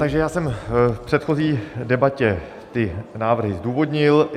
Takže já jsem v předchozí debatě ty návrhy zdůvodnil.